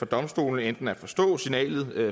domstolene at forstå signalet